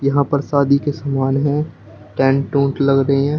यहां पर शादी के समान है टेंट ओन्ट लग रहे हैं।